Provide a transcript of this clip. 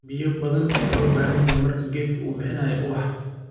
biyo badan aya lobahanye marka gedka u bihinayo ubax